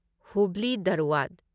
Hubli Dharwad